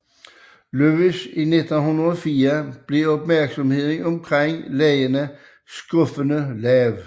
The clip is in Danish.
Louis i 1904 blev opmærksomheden omkring legene skuffende lav